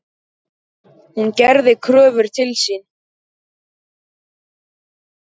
Hún gerði kröfur til sín.